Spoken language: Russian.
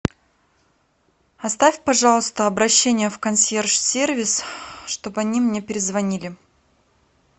оставь пожалуйста обращение в консьерж сервис чтобы они мне перезвонили